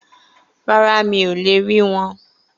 Rárá, mi ò le rí wọn